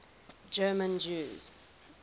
german jews